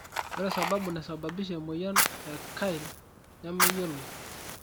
ore sababu naisababisha emoyian e Kyrle nemeyioloi.